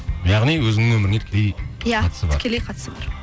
яғни өзіңнің өміріңе тікелей тікелей қатысы бар